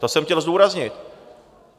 To jsem chtěl zdůraznit.